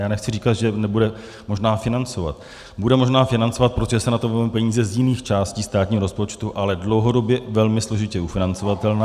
Já nechci říkat, že nebude možná financovat, bude možná financovat, protože se na to vezmou peníze z jiných částí státního rozpočtu, ale dlouhodobě velmi složitě ufinancovatelná.